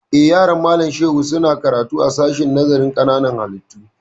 Eh, yaran Malam Shehu su na karatu a sashen nazarin ƙananan hallitu